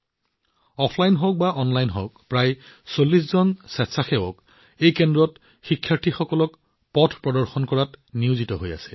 offline হওক বা online শিক্ষাই হওক প্ৰায় ৪০ জন স্বেচ্ছাসেৱকে এই কেন্দ্ৰত শিক্ষাৰ্থীসকলক পথ প্ৰদৰ্শন কৰাত ব্যস্ত হৈ আছে